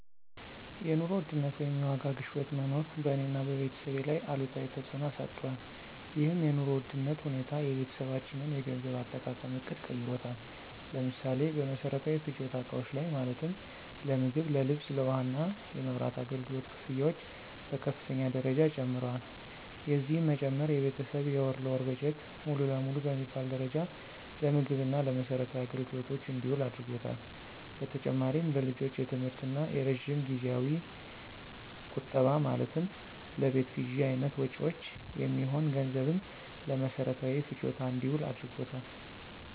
የኑሮ ውድነት ወይም የዋጋ ግሽበት መኖር በእኔ እና በቤተሰቤ ላይ አሉታዊ ተፅዕኖ አሳድሯል። ይህም የኑሮ ውድነት ሁኔታ የቤተሰባችንን የገንዘብ አጠቃቀም ዕቅድ ቀይሮታል። ለምሳሌ፦ በመሰረታዊ ፍጆታ እቃዎች ላይ ማለትም ለምግብ፣ ለልብስ፣ ለውሃ እና የመብራት አገልግሎት ክፍያዎች በከፍተኛ ደረጃ ጨምረዋል። የዚህም መጨመር የቤተሰብ የወር ለወር በጀት ሙሉ ለሙሉ በሚባል ደረጃ ለምግብ እና ለመሰረታዊ አገልግሎቶች እንዲውል አድርጓታል። በተጨማሪም ለልጆች የትምህርት እና የረጅም ጊዜያዊ ቁጠባ ማለትም ለቤት ግዥ አይነት መጭወች የሚሆን ገንዘብም ለመሰረታዊ ፍጆታ እንዲውል አድርጎታል።